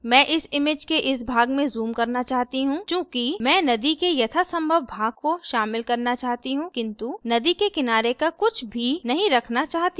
मैं इस image के इस भाग में zoom करना चाहती हूँ चूँकि मैं नदी के यथासंभव भाग को शामिल करना चाहती हूँ किन्तु नदी के किनारे का कुछ भी नहीं रखना चाहती हूँ